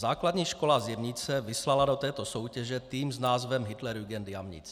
Základní škola z Jemnice vyslala do této soutěže tým s názvem Hitlerjugend Jamnitz.